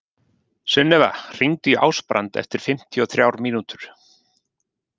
Sunnefa, hringdu í Ásbrand eftir fimmtíu og þrjár mínútur.